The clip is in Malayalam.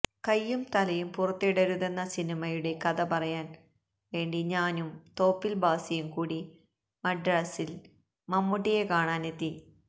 കൈയും തലയും പുറത്തിടരുതെന്ന സിനിമയുടെ കഥ പറയാന് വേണ്ടി ഞാനും തോപ്പില് ഭാസിയും കൂടി മദ്രാസില് മമ്മൂട്ടിയെ കാണാന് എത്തി